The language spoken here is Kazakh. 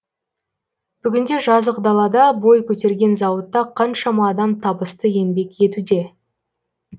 бүгінде жазық далада бой көтерген зауытта қаншама адам табысты еңбек етуде